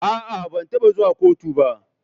A'a, ban taba zuwa kotu ba.